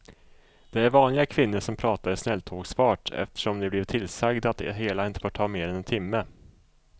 Det är vanliga kvinnor som pratar i snälltågsfart eftersom de blivit tillsagda att det hela inte får ta mer än en timme.